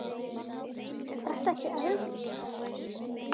Sunna: Er þetta ekkert erfitt?